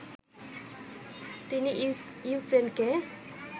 তিনি ইউক্রেনকে